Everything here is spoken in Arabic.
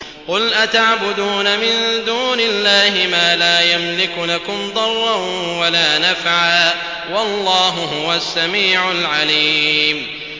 قُلْ أَتَعْبُدُونَ مِن دُونِ اللَّهِ مَا لَا يَمْلِكُ لَكُمْ ضَرًّا وَلَا نَفْعًا ۚ وَاللَّهُ هُوَ السَّمِيعُ الْعَلِيمُ